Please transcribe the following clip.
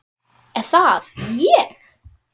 Er það ÉG??